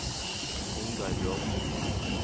Ingar Bråthen